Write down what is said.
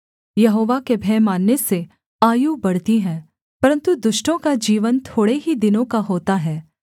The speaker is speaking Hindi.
यहोवा के भय मानने से आयु बढ़ती है परन्तु दुष्टों का जीवन थोड़े ही दिनों का होता है